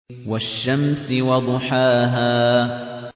وَالشَّمْسِ وَضُحَاهَا